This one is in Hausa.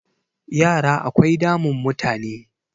yara akwai damun mutane